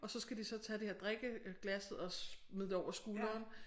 Og så skal de så tage det her drikkeglasset og smide det over skulderen